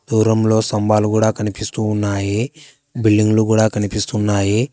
దూరంలో స్తంభాలు కూడా కనిపిస్తూ ఉన్నాయి బిల్డింగ్లు కూడా కనిపిస్తున్నాయి.